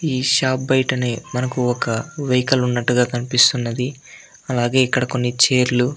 ఈ షాప్ బయటిని మనకు ఒక వెహికల్ ఉన్నట్టుగా కనిపిస్తున్నది. అలాగే ఇక్కడ కొన్ని ఛైర్లు --